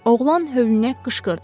Oğlan hövlnə qışqırdı.